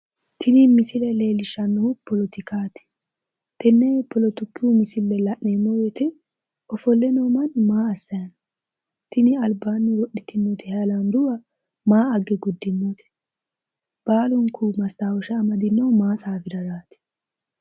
Tini misile leellishshannohu poletikaati, tenne poletiku misile la'neemmo woyite ofolleno manni maa assayino? Tini albaanni wodhitinoti hayilaandubba maa agge guddinote? Baalunku mastawosha amadinohu tsaafiraraati?